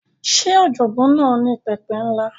Ṣé ọ̀jọ̀gbọ́n náà ní pẹpẹ ńlá?